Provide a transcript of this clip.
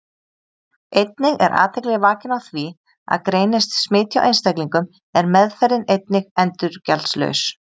Einnig er athygli vakin á því að greinist smit hjá einstaklingum er meðferðin einnig endurgjaldslaus.